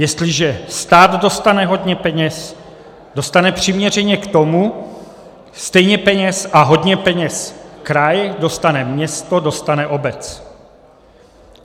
Jestliže stát dostane hodně peněz, dostane přiměřeně k tomu stejně peněz a hodně peněz kraj, dostane město, dostane obec.